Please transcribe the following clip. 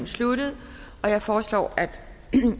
sluttet jeg foreslår at